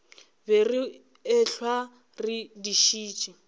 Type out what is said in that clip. be re ehlwa re dišitše